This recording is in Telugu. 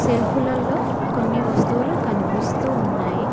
సెల్ఫ్లల్లో కొన్ని వస్తువులు కనిపిస్తూ ఉన్నాయి.